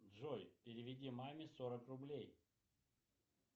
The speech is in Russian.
джой переведи маме сорок рублей